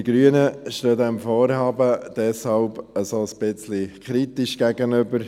Wir Grüne stehen diesem Vorhaben deshalb ein wenig kritisch gegenüber.